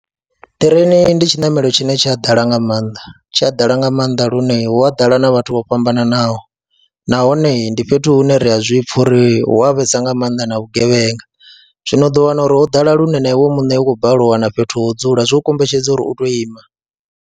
Ṱireini ndi tshiṋamelo tshine tshi a ḓala nga maanḓa, tshi a ḓala nga maanḓa lune hu a ḓala na vhathu vho fhambananaho nahone ndi fhethu hune ri a zwi pfha uri hu a vhesa nga maanḓa na vhugevhenga, zwino u ḓo wana uri ho ḓala lune na iwe muṋe u khou balelwa u wana fhethu ho dzula zwo kombetshedza uri u tou ima.